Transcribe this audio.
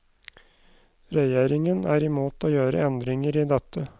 Regjeringen er imot å gjøre endringer i dette.